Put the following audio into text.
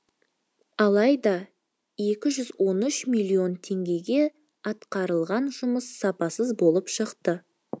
алайда екі жүз он үш миллион теңгеге атқарылған жұмыс сапасыз болып шықты